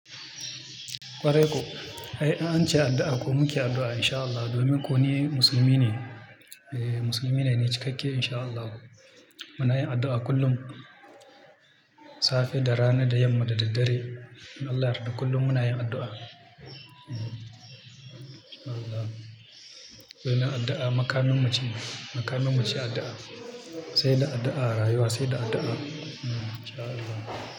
Kwarai ko, ai an ce addu'a ko muke addu'a insha Allah, domin ku ne musulmi ne, eh musulmi ne ni cikakke insha Allah. Muna yin addu'a kullum, safe da rana da yamma da daddare. Allah ya yarda kullum muna yin addu'a. Allah. Mun yi addu'a, makamin mu ce, makamin mu ce addu'a. Sai da addu'a a rayuwa sai da addu'a. Insha Allah.